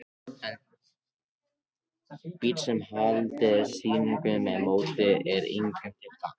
En bíll, sem haldið er síungum með þessu móti, er engum til gagns.